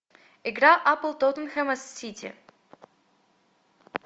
игра апл тоттенхэма с сити